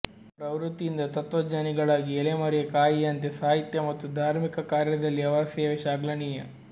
ಪ್ರವೃತ್ತಿಯಿಂದ ತತ್ವಜ್ಞಾನಿಗಳಾಗಿ ಎಲೆಮರೆಯ ಕಾಯಿಯಂತೆ ಸಾಹಿತ್ಯ ಮತ್ತು ಧಾರ್ಮಿಕ ಕಾರ್ಯದಲ್ಲಿ ಅವರ ಸೇವೆ ಶ್ಲಾಘನಿಯ